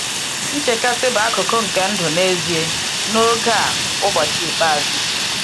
Nchekasị bụ akụkụ nke ndụ n’ezie n’oge a ‘ụbọchị ikpeazụ.’